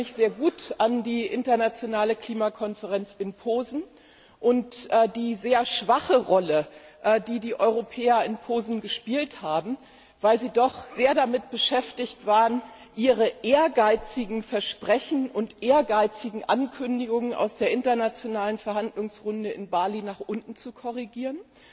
Ich erinnere mich sehr gut an die internationale Klimakonferenz in Posen und die sehr schwache Rolle, die die Europäer in Posen gespielt haben, weil sie damit beschäftigt waren, ihre ehrgeizigen Versprechen und ehrgeizigen Ankündigungen aus der internationalen Verhandlungsrunde in Bali nach unten zu korrigieren,